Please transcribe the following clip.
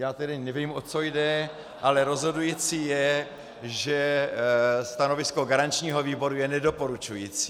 Já tedy nevím, o co jde , ale rozhodující je, že stanovisko garančního výboru je nedoporučující.